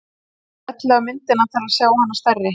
smellið á myndina til að sjá hana stærri